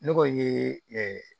Ne tɔgɔ ye